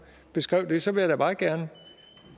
beskrev det så vil jeg da meget gerne